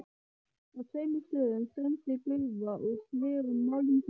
Á tveimur stöðum streymdi gufa úr sverum málmpípum.